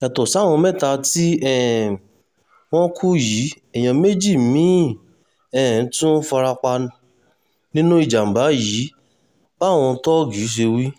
yàtọ̀ sáwọn mẹ́ta tí um wọ́n kú yìí èèyàn méjì mí-ín um tún fara pa nínú ìjàmàbá yìí báwọn thoji ṣe wí